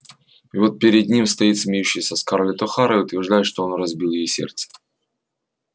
и вот перед ним стоит смеющаяся скарлетт охара и утверждает что он разбил ей сердце